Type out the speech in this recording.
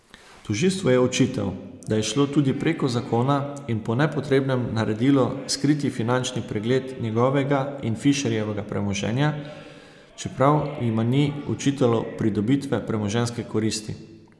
Tožilstvu je očital, da je šlo tudi preko zakona in po nepotrebnem naredilo skriti finančni pregled njegovega in Fišerjevega premoženja, čeprav jima ni očitalo pridobitve premoženjske koristi.